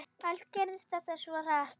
Allt gerðist þetta svo hratt.